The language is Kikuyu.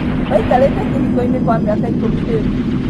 Maikarĩte kĩhiko-inĩ kwa mĩaka ikũmi rĩũ